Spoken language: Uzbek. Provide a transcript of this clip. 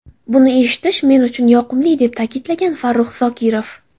Buni eshitish men uchun yoqimli”, deb ta’kidlagan Farruh Zokirov.